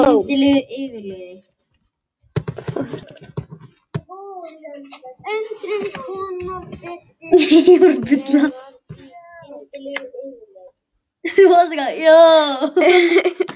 Mamma talaði hratt, það var dýrt að tala í landsímann.